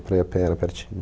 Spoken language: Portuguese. Para ir a pé era pertinho.